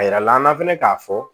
A yira la an na fɛnɛ k'a fɔ